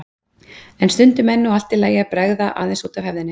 En stundum er nú allt í lagi að bregða aðeins út af hefðinni.